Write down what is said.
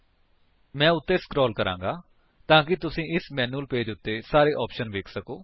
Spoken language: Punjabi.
ਮੈਂ ਉੱਤੇ ਸਕਰੋਲ ਕਰਾਂਗਾ ਤਾਂ ਕਿ ਤੁਸੀ ਇਸ ਮੈਨਿਊਅਲ ਪੇਜ ਉੱਤੇ ਸਾਰੇ ਆਪਸ਼ਨਸ ਵੇਖ ਸਕੋ